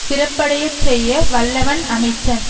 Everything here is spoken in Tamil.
சிறப்படைய செய்ய வல்லவன் அமைச்சன்